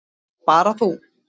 Bara þú.